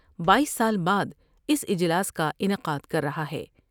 بائیس سال بعد اس اجلاس کا انعقادکررہا ہے۔